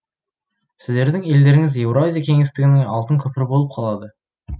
сіздердің елдеріңіз еуразия кеңістігінің алтын көпірі болып қалады